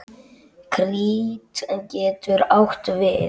Krít getur átt við